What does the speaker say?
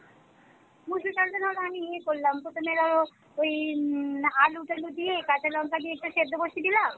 মসুর ডালটা ধরো আমি ইয়ে করলাম প্রথমে ধরো ওই হম আলু টালু দিয়ে কাঁচা লঙ্কা দিয়ে একটা সিদ্ধ বসিয়ে দিলাম